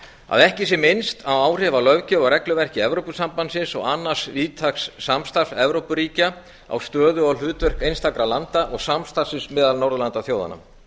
að ekki sé minnst á áhrif á löggjöf og regluverki evrópusambandsins og annars víðtæks samstarfs evrópuríkja á stöðu og hlutverk einstakra landa og samstarfsins meðal norðurlandaþjóðanna